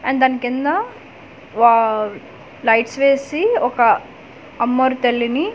And దాని కింద wow lights వేసి ఒక అమ్మోరు తల్లిని.